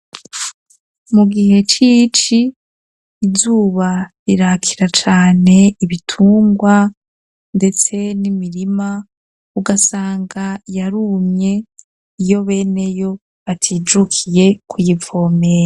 Mu gihe cici izuba rirakira cane ibitungwa, ndetse n'imirima ugasanga yarumye iyo beneyo atijukiye kuyivomeya.